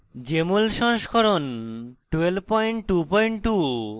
jmol সংস্করণ 1222